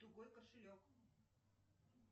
тугой кошелек